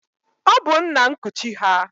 Ọ bụ nna nkuchi ha.